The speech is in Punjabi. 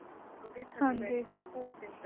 ਓਹਦੇ ਥੱਲੇ ਬੈਠਕੇ ਘੋਰ ਦਿਨ